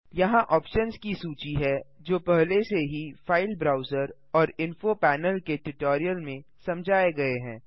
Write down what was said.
यहाँ ऑप्शन्स की सूची है जो पहले से ही फ़ाइल ब्राउज़र और इन्फो पैनल के ट्यूटोरियल में समझाए गये हैं